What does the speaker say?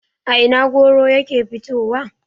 a Ina goro yake fitowa?